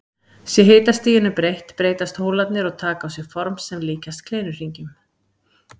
Sé hitastiginu breytt breytast hólarnir og taka á sig form sem líkjast kleinuhringjum.